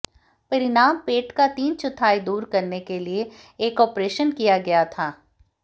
परिणाम पेट का तीन चौथाई दूर करने के लिए एक ऑपरेशन किया गया था